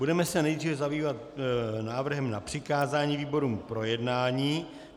Budeme se nejdřív zabývat návrhem na přikázání výborům k projednání.